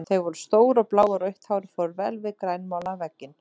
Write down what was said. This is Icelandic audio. Þau voru stór og blá og rautt hárið fór vel við grænmálaðan vegginn.